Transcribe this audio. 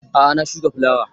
A'a na shuka fulawa